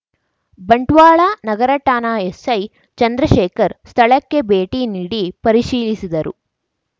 ಬಂಟ್ವಾಳ ನಗರ ಠಾಣಾ ಎಸ್ಸೈ ಚಂದ್ರಶೇಖರ್ ಸ್ಥಳಕ್ಕೆ ಭೇಟಿ ನೀಡಿ ಪರಿಶೀಲಿಸಿದರು